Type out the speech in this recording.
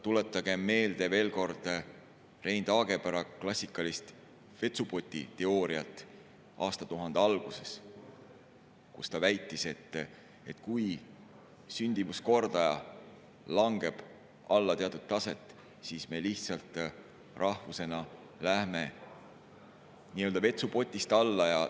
Tuletagem veel kord meelde Rein Taagepera klassikalist vetsupotiteooriat aastatuhande algusest: ta väitis, et kui sündimuskordaja langeb alla teatud taset, siis me lihtsalt rahvusena läheme nii-öelda vetsupotist alla.